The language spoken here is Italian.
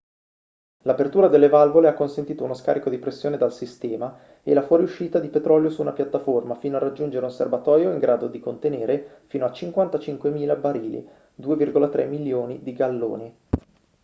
l'apertura delle valvole ha consentito uno scarico di pressione dal sistema e la fuoriuscita di petrolio su una piattaforma fino a raggiungere un serbatoio in grado di contenerne fino a 55.000 barili 2,3 milioni di galloni